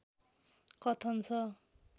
कथन छ